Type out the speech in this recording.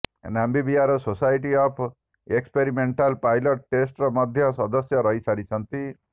ନାମ୍ବିୟାରଙ୍କ society of experimental pilot test ର ମଧ୍ୟ ସଦସ୍ୟ ରହି ସାରିଛନ୍ତି